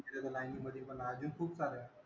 तिथे ते line मधे, अजून खुपसाऱ्या आहेत.